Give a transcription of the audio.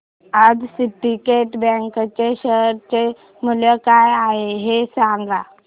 आज syndicate bank च्या share चे मूल्य काय आहे हे सांगा